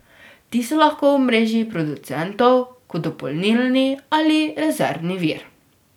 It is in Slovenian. Ti so lahko v mreži producentov kot dopolnilni ali rezervni vir.